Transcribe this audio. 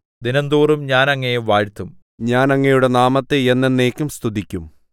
ദിനംതോറും ഞാൻ അങ്ങയെ വാഴ്ത്തും ഞാൻ അങ്ങയുടെ നാമത്തെ എന്നെന്നേക്കും സ്തുതിക്കും